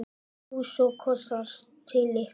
Knús og kossar til ykkar.